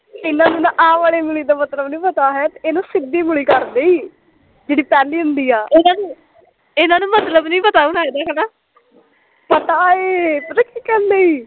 ਟੀਨਾ ਨੂੰ ਆਹ ਵਾਲੀ ਉਂਗਲੀ ਦਾ ਮਤਲਬ ਨੀ ਪਤਾ ਇਹਨੂੰ ਸਿੱਧੀ ਉਂਗਲੀ ਕਰਦੀ ਈ, ਜਿਹੜੀ ਪਹਿਲੀ ਹੁੰਦੀ ਆ, ਇਹਨਾਂ ਨੂੰ ਮਤਲਬ ਨੀ ਪਤਾ ਹੁਣਾ ਇਹਦਾ ਹੈਨਾ ਪਤਾ ਐ ਪਤਾ ਕੀ ਕਰਨ ਡਈ